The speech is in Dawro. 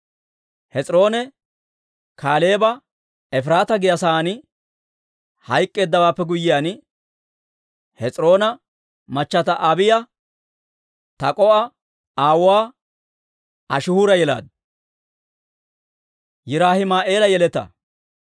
Hes'iroone Kaaleeba Efiraataa giyaa saan hayk'k'eeddawaappe guyyiyaan, Hes'iroona machata Abiiya Tak'o"a aawuwaa Ashihuura yelaaddu.